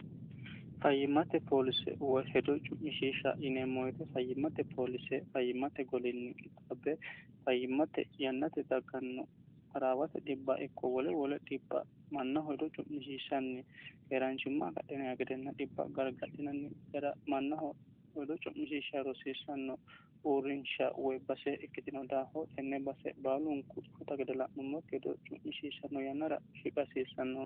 fayyimmate poolise woy hedo cu'mishiisha yineemmooyite fayyimmate poolise fayyimmate golinni qixaabbe fayyimmate yannate dagganno baraawate dhibba ikko wole wole dhibb mannaho hedo cu'mishishanni keeraanchimma agadhinayi gedenna dhibba gargadhinanni gara mannaho hedo cu'mishisha rosiissanno uurrinsha woy base ikkitino daaho tenne base baalunku cufuta gidala'nummokki hedo cu'mishishanno yannara shiqhasiissanno